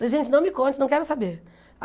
Falei, gente, não me conte, não quero saber.